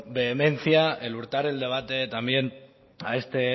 vehemencia el hurtar el debate también a este